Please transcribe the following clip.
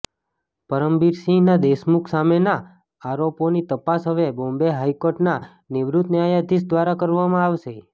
પરમબીર સિંહના દેશમુખ સામેના આરોપોની તપાસ હવે બોમ્બે હાઈકોર્ટના નિવૃત્ત ન્યાયાધીશ દ્વારા કરવામાં આવશે